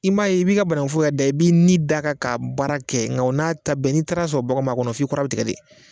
I m'a ye i bi ka bananguforo yɛɛrɛ da i b'i ni da kan k'a baara kɛ nga o n'a ta bɛɛ n'i taara sɔrɔ baganw b'a kɔnɔ f'i kɔrɔ bi tigɛ de